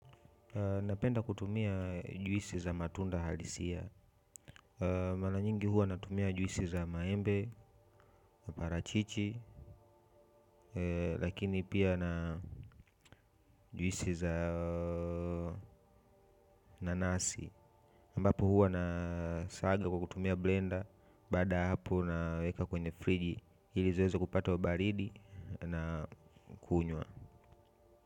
Napenda kutumia juisi za matunda halisia mara nyingi huwa natumia juisi za maembe parachichi lakini pia na juisi za nanasi ambapo huwa nasaga kwa kutumia blender baada ya hapo naweka kwenye friji ili ziweze kupatwa baridi na kunywa.